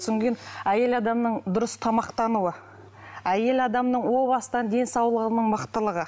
кейін әйел адамның дұрыс тамақтануы әйел адамның о бастан денсаулығының мықтылығы